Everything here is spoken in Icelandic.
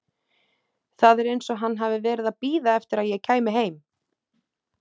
Það er eins og hann hafi verið að bíða eftir að ég kæmi heim!